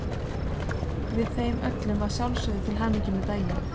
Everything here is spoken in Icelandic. Við þeim öllum að sjálfsögðu til hamingju með daginn.